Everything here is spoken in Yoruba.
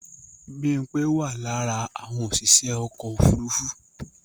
Bímpé wà lára àwọn òṣìṣẹ́ ọkọ̀ ofúrufú